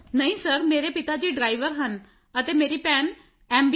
ਨਹੀਂ ਸਰ ਮੇਰੇ ਪਿਤਾ ਜੀ ਡਰਾਈਵਰ ਹਨ ਅਤੇ ਮੇਰੀ ਭੈਣ ਐਮ